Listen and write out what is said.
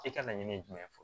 E ka laɲini ye jumɛn ye fɔlɔ